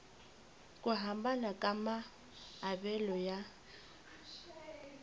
ku hambana ka maavelo ya